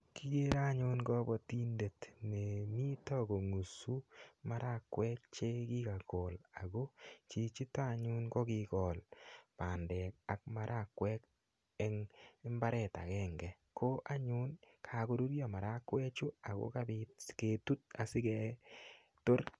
Kigere anyun kapatindet ne mito kongusu marakwek che kigagol ako chichito anyun ko kogol bandek ak marakwek eng imbaret agenge. Ko anyun kagorurio marakwechu ago kapit sigetut asigetor.